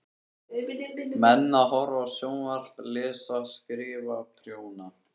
Menn að horfa á sjónvarp, lesa, skrifa, prjóna.